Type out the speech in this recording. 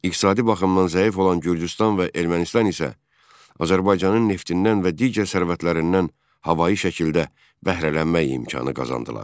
İqtisadi baxımdan zəif olan Gürcüstan və Ermənistan isə Azərbaycanın neftindən və digər sərvətlərindən havayi şəkildə bəhrələnmək imkanı qazandılar.